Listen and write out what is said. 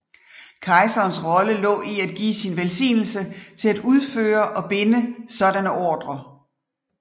Kejserens rolle lå i at give sin velsignelse til at udføre og binde sådanne ordrer